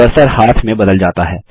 cursor हाथ में बदल जाता है